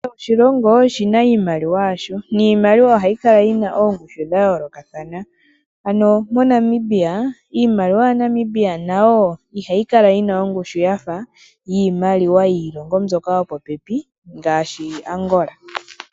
Kehe oshilongo oshina iimaliwa yasho, niimaliwa ohayi kala yina oongushu dha yoolokathana. Ano moNamibia, iimaliwa yaNamibia nayo ihayi kala yina ongushu yafa yiimaliwa yiilongo mbyoka yo popepi ngaashi Angola.